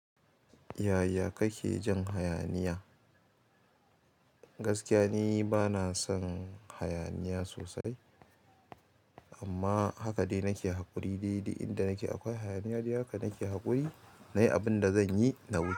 Yaya kake jin hayaniya? Gaskiya ni bana son hayaniya sosai amma haka dai nake haƙuri. Daidai inda nake akwai hayaniya, haka nake haƙuri na yi abin da zan yi na gudu.